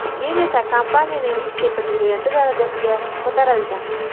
Keyin esa kompaniyaning vitse-prezidenti darajasiga ko‘tarilgan.